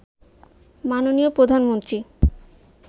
মাননীয় প্রধানমন্ত্রী